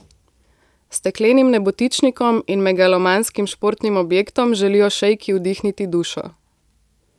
Steklenim nebotičnikom in megalomanskim športnim objektom želijo šejki vdihniti dušo.